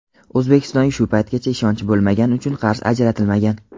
O‘zbekistonga shu paytgacha ishonch bo‘lmagani uchun qarz ajratilmagan.